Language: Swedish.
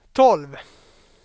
tolv